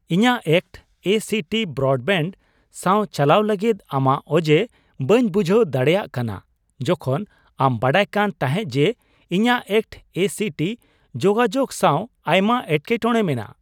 ᱤᱧᱟᱜ act (ACT) broadband ᱥᱟᱶ ᱪᱟᱞᱟᱣ ᱞᱟᱹᱜᱤᱫ ᱟᱢᱟᱜ ᱚᱡᱮ ᱵᱟᱹᱧ ᱵᱩᱡᱷᱟᱹᱣ ᱫᱟᱲᱮᱭᱟᱜ ᱠᱟᱱᱟ, ᱡᱚᱠᱷᱚᱱ ᱟᱢ ᱵᱟᱰᱟᱭ ᱠᱟᱱ ᱛᱟᱦᱮᱸᱜ ᱠᱡᱮ ᱤᱧᱟᱹᱜ ᱮᱠᱴ( ACT) ᱡᱳᱜᱟᱡᱳᱜ ᱥᱟᱶ ᱟᱭᱢᱟ ᱮᱴᱠᱮᱴᱚᱲᱮ ᱢᱮᱱᱟᱜᱼᱟ ᱾